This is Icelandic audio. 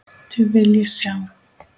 Þau vil ég sjá.